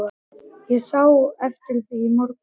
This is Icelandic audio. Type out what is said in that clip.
Ég sá eftir því í morgun.